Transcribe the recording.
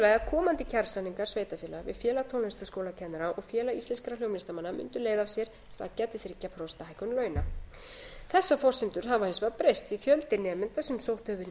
komandi kjarasamningar sveitarfélaga við félag tónlistarskólakennara og félag íslenskra hljómlistarmanna mundu leiða af sér þrjú prósent hækkun launa þessar forsendur hafa hins vegar breyst því að fjöldi nemenda sem sótt hefur verið um